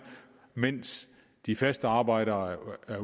mens de faste arbejdere er